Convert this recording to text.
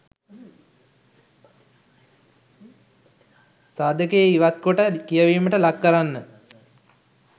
සාධකය ඉවත්කොට කියැවීමට ලක් කරන්න .